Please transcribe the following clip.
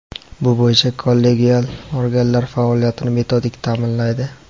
bu bo‘yicha kollegial organlar faoliyatini metodik taʼminlaydi.